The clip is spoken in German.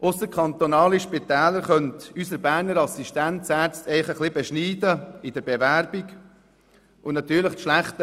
Ausserkantonale Spitäler könnten unsere Berner Assistenzärzte in der Bewerbung ein bisschen beschneiden.